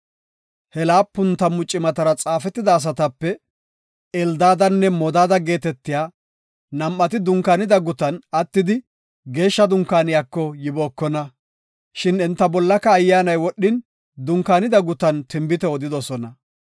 He laapun tammu cimatara xaafetida asatape Eldaadanne Modaada geetetiya nam7ati dunkaanida gutan attidi Geeshsha Dunkaaniyako yibookona. Shin enta bollaka Ayyaanay wodhin, dunkaanida gutan tinbite odidosona.